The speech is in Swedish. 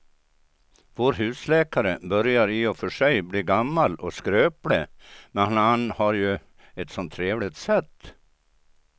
Vår husläkare börjar i och för sig bli gammal och skröplig, men han har ju ett sådant trevligt sätt!